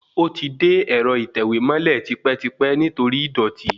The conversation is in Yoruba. Ó ti de ẹ̀rọ ìtẹ̀wẹ́ mọ́lẹ̀ tipẹ́tipẹ́ nítorí ìdọ̀tí